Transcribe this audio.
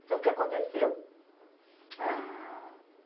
Então, o que aconteceu? Ah